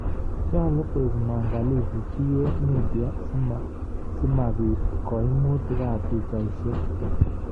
Nyoluu koek mwangalifu PA Media simapiit koimuutik ab pichaisiek.